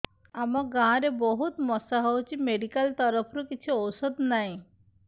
ଆମ ଗାଁ ରେ ବହୁତ ମଶା ହଉଚି ମେଡିକାଲ ତରଫରୁ କିଛି ଔଷଧ ନାହିଁ